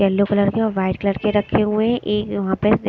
Yellow colour के और white colour के रखे हुए हैं एक यहां पे ।